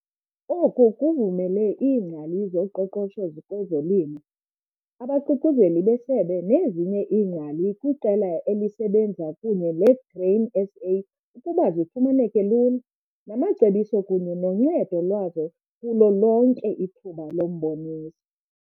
Oku kuvumele iingcali zoqoqosho kwezolimo, abaQuquzeleli beSebe nezinye iingcali kwiqela elisebenza kunye leGrain SA ukuba zifumaneke lula namacebiso kunye noncedo lwazo kulo lonke ithuba lomboniso.